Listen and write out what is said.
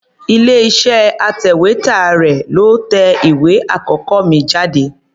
Ilé-iṣẹ́ atẹ̀wétà rẹ̀ ló tẹ ìwé àkọ́kọ́ mi jáde.